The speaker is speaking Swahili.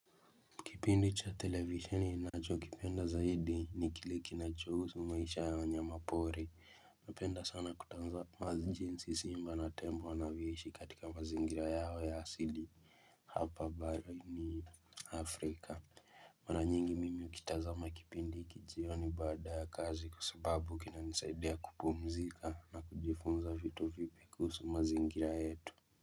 Kipindi cha televisioni ninacho kipenda zaidi ni kile kinacho husu maisha ya wanyama pori Napenda sana kutazama jinsi simba na tembo wanavyoishi katika mazingira yao ya asidi Hapa bara ni afrika Mara nyingi mimi ukita za makipindi iki jioni bada ya kazi kwa sababu kina nisaidia kupumzika na kujifunza vitu vipi kuhusu mazingira yetu.